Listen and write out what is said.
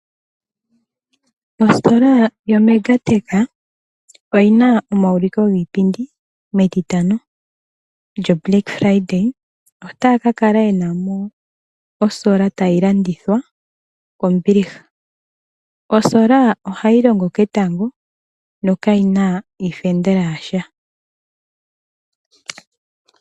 Ositola yaMegatech oyi na omawulukilo giipindi metitano eeludhe. Ota ya ka kala yena olusheno loketango ta lu landithwa kombiliha. Olusheno loketango oha lu longo ketango na kalu na iifendela yasha.